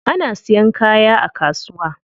Ana siyan kaya a kasuwa.